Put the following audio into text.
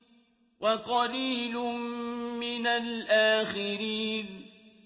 وَقَلِيلٌ مِّنَ الْآخِرِينَ